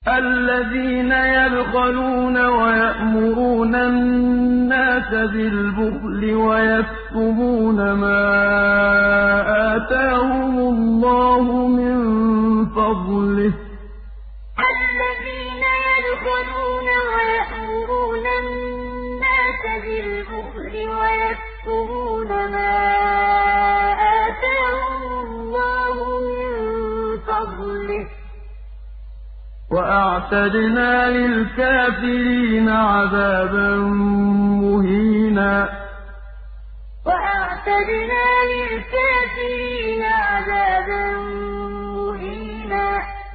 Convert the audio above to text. الَّذِينَ يَبْخَلُونَ وَيَأْمُرُونَ النَّاسَ بِالْبُخْلِ وَيَكْتُمُونَ مَا آتَاهُمُ اللَّهُ مِن فَضْلِهِ ۗ وَأَعْتَدْنَا لِلْكَافِرِينَ عَذَابًا مُّهِينًا الَّذِينَ يَبْخَلُونَ وَيَأْمُرُونَ النَّاسَ بِالْبُخْلِ وَيَكْتُمُونَ مَا آتَاهُمُ اللَّهُ مِن فَضْلِهِ ۗ وَأَعْتَدْنَا لِلْكَافِرِينَ عَذَابًا مُّهِينًا